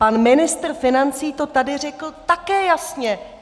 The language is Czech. Pan ministr financí to tady řekl také jasně.